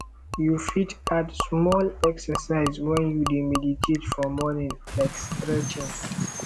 you fit add small exercise when you dey meditate for morning like stretching